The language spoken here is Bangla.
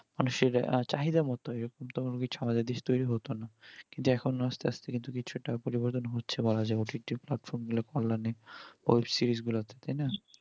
মানুষের চাহিদার মতন এরকম তো কিছু আমাদের দেশে টোরি হতো না কিন্তু আস্তে আস্তে কিছু একটা পরিবর্তন হচ্ছে বলা যাবে OTT platform গুলো পাইলে web-series গুলা তে তাই না